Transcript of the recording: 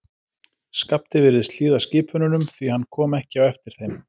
Skapti virtist hlýða skipununum, því hann kom ekki á eftir þeim.